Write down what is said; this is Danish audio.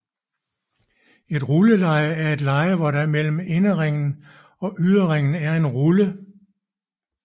Et rulleleje er et leje hvor der mellem inderringen og yderringen er ruller